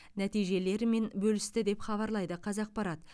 нәтижелерімен бөлісті деп хабарлайды қазақпарат